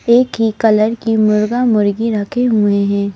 एक ही कलर की मुर्गा मुर्गी रखे हुए हैं।